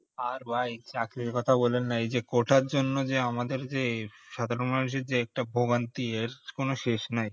আর ভাই চাকরির কথা বললেন না এই যে quota এর জন্য যে আমাদের যে সাধারণ মানুষের যে ভোগান্তি এর কোনো শেষ নেই